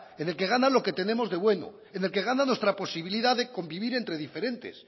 en el que gana lo que tenemos de bueno en el que gana nuestra posibilidad de convivir entre diferentes